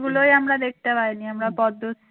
গুলোই আমরা দেখতে পাইনি. আমরা পদ্ম